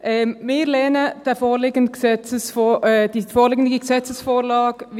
Wir lehnen die vorliegende Gesetzesvorlage ab.